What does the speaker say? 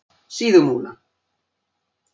Síðumúla